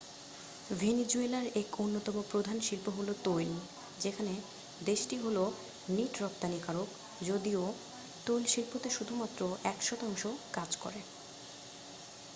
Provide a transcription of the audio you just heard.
ভেনিজুয়েলার এক অন্যতম প্রধান শিল্প হল তৈল যেখানে দেশটি হল নিট রপ্তানিকারক যদিও তৈলশিল্পতে শুধুমাত্র এক শতাংশ কাজ করে